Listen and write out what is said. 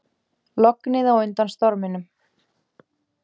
Lognið á undan storminum